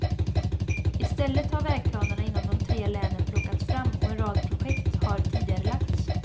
I stället har vägplanerna inom de tre länen plockats fram och en rad projekt har tidigarelagts.